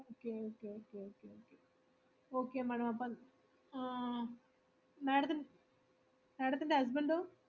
okay okay okay okay okay, okay madam അപ്പോ ah madam ത്തിന് madam ത്തിൻ്റെ husband ഓ.